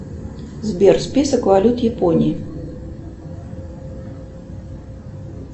сбер список валют японии